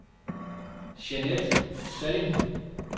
Jeanette Salling